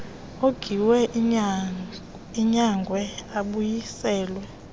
ongiwe anyangwe abuyiselwe